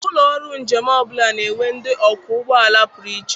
Ụlọ ọrụ njem ọbụla na-enwe ndị ọkwọ ụgbọala pụrụ iche.